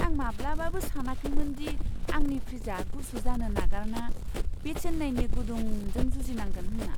आं माब्लाबाबो सानाखैमोन दि आंनि फ्रिजआ गुसु जानो नागारना बे चेन्नाईनि गुदुंजों जुजिनांगोन होनना!